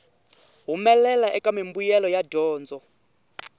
humelela eka mimbuyelo ya dyondzo